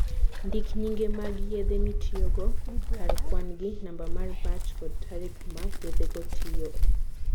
Ndik nyinge mag yedhe mitiyogo, kar kwan-gi, namba mar batch, kod tarik ma yedhego tiyoe.